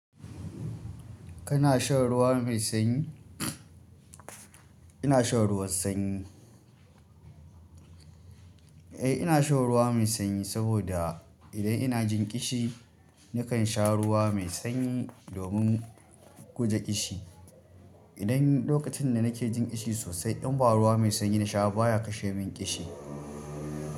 Kana shan ruwa mai sanyi? Ina shan ruwan sanyi. Eh, ina shan ruwa mai sanyi saboda idan ina jin ƙishi, nakan sha ruwa mai sanyi domin guje ƙishi. Idan lokacin da nake jin ƙishi sosai, in ba ruwa mai sanyi na sha baya kashe min ƙishi.